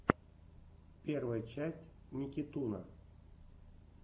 первая часть никитуна